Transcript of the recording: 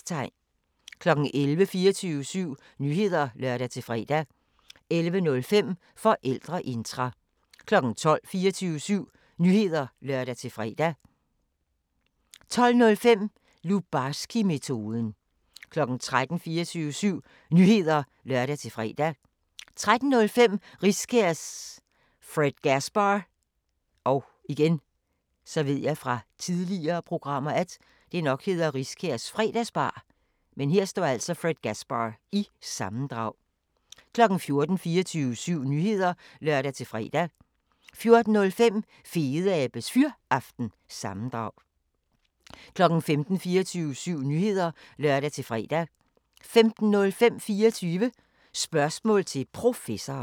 11:00: 24syv Nyheder (lør-fre) 11:05: Forældreintra 12:00: 24syv Nyheder (lør-fre) 12:05: Lubarskimetoden 13:00: 24syv Nyheder (lør-fre) 13:05: Riskærs Fredgasbar- sammendrag 14:00: 24syv Nyheder (lør-fre) 14:05: Fedeabes Fyraften – sammendrag 15:00: 24syv Nyheder (lør-fre) 15:05: 24 Spørgsmål til Professoren